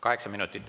Kaheksa minutit.